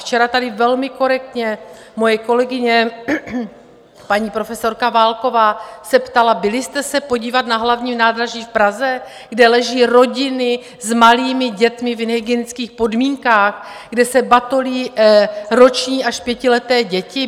Včera tady velmi korektně moje kolegyně, paní profesorka Válková, se ptala: Byli jste se podívat na hlavním nádraží v Praze, kde leží rodiny s malými dětmi v nehygienických podmínkách, kde se batolí roční až pětileté děti?